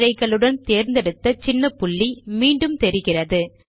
குறுக்கிழைகளுடன் தேர்ர்ந்தெடுத்த சின்ன புள்ளி மீண்டும் தெரிகிறது